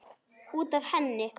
Út af henni!